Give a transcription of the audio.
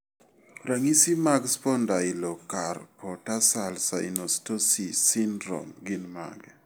Ranyi mag Spondylocarpotarsal synostosis syndrome gin mage?